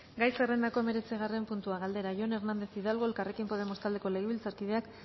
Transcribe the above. gai zerrendako hemeretzigarren puntua galdera jon hernández hidalgo elkarrekin podemos taldeko legebiltzarkideak